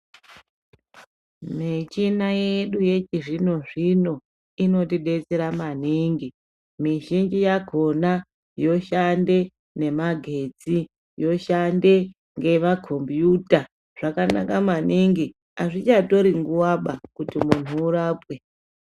Mushina yedu yechizvino zvinoinotidetsera maningi mizhinji yakhona yoshande ngemagetsi yoshande ngemakombiyuta zvakanaka maningi azvichatori nguwaba kuti muntu urapwe.